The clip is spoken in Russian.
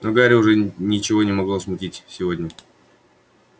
но гарри уже ничего не могло смутить сегодня